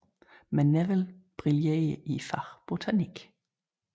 Men Neville brillerer i faget botanik